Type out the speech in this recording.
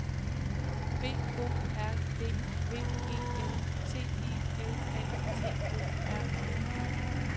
B O R D V E N T I L A T O R E R